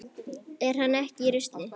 Er hann ekki í rusli?